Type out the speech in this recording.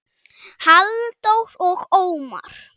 Halldór og Ómar.